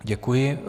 Děkuji.